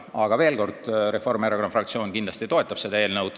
Aga veel kord: Reformierakonna fraktsioon kindlasti toetab seda eelnõu.